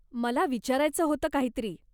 मला विचारायचं होत काहीतरी.